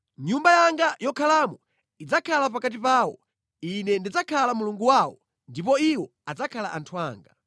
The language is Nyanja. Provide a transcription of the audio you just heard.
Nyumba yanga yokhalamo idzakhala pakati pawo; Ine ndidzakhala Mulungu wawo, ndipo iwo adzakhala anthu anga.